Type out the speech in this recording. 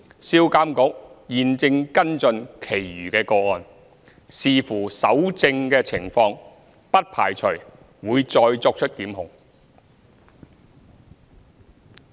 銷監局現正跟進其餘個案，視乎搜證情況，不排除會再作出檢控。